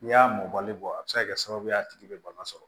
N'i y'a mɔbali bɔ a bi se ka kɛ sababu ye a tigi be bana sɔrɔ